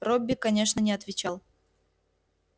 робби конечно не отвечал